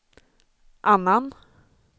annan